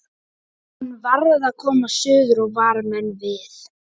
Hann varð að komast suður og vara menn við.